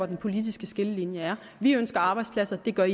den politiske skillelinje er vi ønsker arbejdspladser det gør